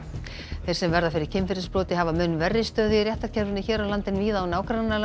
þeir sem verða fyrir kynferðisbroti hafa mun verri stöðu í réttarkerfinu hér á landi en víða í nágrannalöndunum